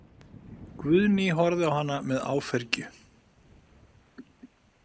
Guðný horfði á hana með áfergju.